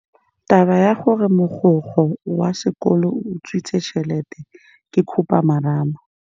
Taba ya gore mogokgo wa sekolo o utswitse tšhelete ke khupamarama.